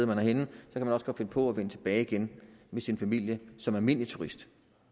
man også finde på at vende tilbage igen med sin familie som almindelig turist